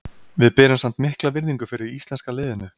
Við berum samt mikla virðingu fyrir íslenska liðinu.